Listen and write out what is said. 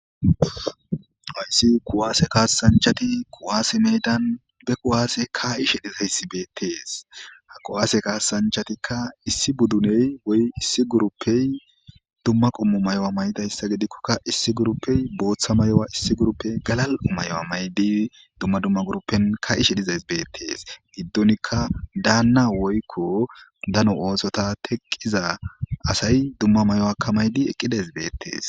Haysi kuwase kasanchati kuwase medan be kuwase kaa'ishe dizaysi beetees. Ha kuwase kasanchatika issi budune woy issi gurupey dumma qommo mayo mayidaysa gidikoka issi gurupey bootha mayo issi gurupey galal'o mayo mayidi dumma dumma gurupen kaa'ishe dizays beetees. Gidonika daana woyko dano oothota teqiza asay dumma mayidi dizaysi beetees.